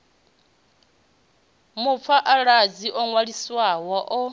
mupha aladzi o ṅwaliswaho o